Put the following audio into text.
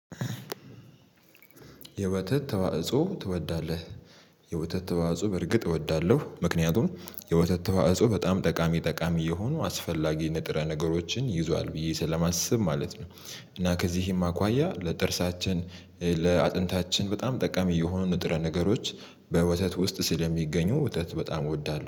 የወተት ተዋጽኦ ትወዳለህ? የወተት ተዋጽኦ በርግጥ እወዳለሁ ምክንያቱም የወተት ተዋጽኦ በጣም ጠቃሚ ጠቃሚ የሆኑ አስፈላጊ ንጥረ ነገሮችን ይዟል ብዬ ስለማስብ ማለት ነው። እና ከዚህም አኳያ ለጥርሳችን ለአጥንታችን በጣም ጠቀሚ የሆኑ ንጥረ ነገሮች በወተት ውስጥ ስለሚገኙ ወተት በጣም እወዳለሁ